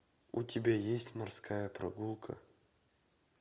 у тебя есть морская прогулка